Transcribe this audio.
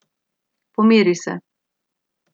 Pomiri se.